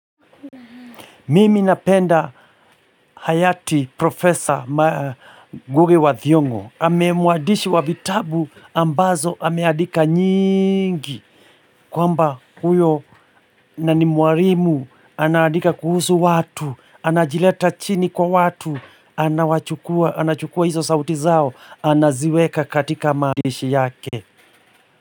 Mimi napenda hayati Prof. Ngugi wa Thiong'o. Mwandishi wa vitabu ambazo, ameandika nyingi. Kwamba huyo na ni mwarimu, anaandika kuhusu watu, anajileta chini kwa watu, anachukua hiso sauti zao, anaziweka katika maandishi yake.